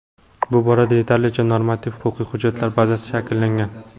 Bu borada yetarlicha normativ-huquqiy hujjatlar bazasi shakllangan.